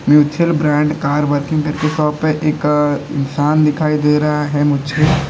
mutual brand car working करके shop है एक इंसान दिखाई दे रहा है मुझको--